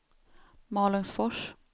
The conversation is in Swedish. Malungsfors